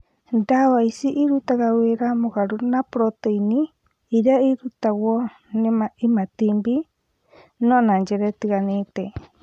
Ndawa ici irutaga wĩra mũgarũ na proteini ĩrĩa ĩrutagwo nĩ imatinib, no na njĩra itiganĩte.